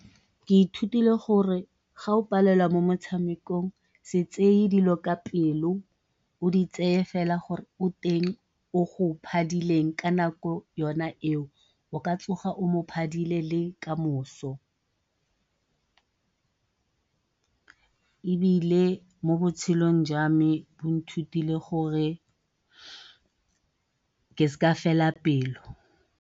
Ke ithutile gore ga o palelwa mo motshamekong, se tseye dilo ka pelo, o di tseye fela gore o teng o go phadileng ka nako yona eo o ka tsoga o mo phadile le kamoso ebile mo botshelong jwa me bo nthutile ke sa fela pelo.